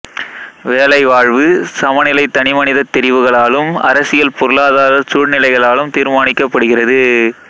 வேலைவாழ்வு சமநிலை தனிமனிதத் தெரிவுகளாலும் அரசியல் பொருளாதாரச் சூழ்நிலைகளாலும் தீர்மானிக்கப்படுகிறது